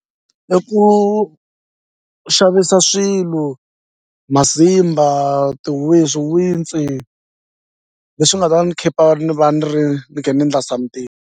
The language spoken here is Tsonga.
I ku xavisa swilo masimba swiwintsi leswi nga ta ni khipa ni va ni ri ni khe ni ndla something.